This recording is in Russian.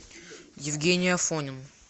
евгений афонин